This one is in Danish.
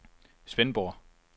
Svendborg